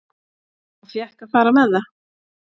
Og fékk að fara með það.